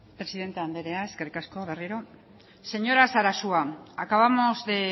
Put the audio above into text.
presidente anderea eskerrik asko berriro señora sarasua acabamos de